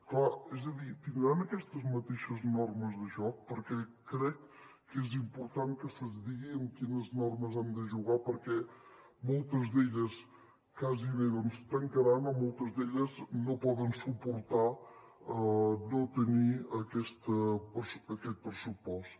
clar és a dir tindran aquestes mateixes normes de joc perquè crec que és important que se’ns digui amb quines normes hem de jugar perquè moltes d’elles gairebé doncs tancaran moltes d’elles no poden suportar no tenir aquest pressupost